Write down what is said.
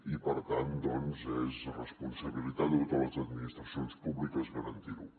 i per tant doncs és responsabilitat de totes les administracions públiques garantir ho